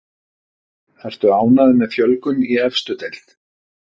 Ertu ánægður með fjölgun í efstu deild?